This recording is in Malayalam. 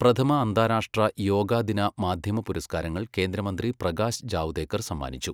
പ്രഥമഅന്താരാഷ്ട്ര യോഗാ ദിന മാധ്യമ പുരസ്കാരങ്ങള് കേന്ദ്രമന്ത്രി പ്രകാശ് ജാവ്ദേക്കര് സമ്മാനിച്ചു